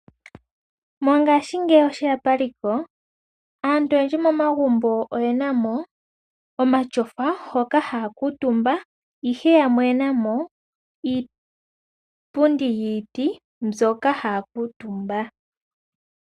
Mongashingeyi oshe ya paliko, aantu oyendji momagumbo oye na mo omatyofa hoka haya kuutumba, ihe yamwe oye na mo iipundi yiiti hoka haya kuutumba.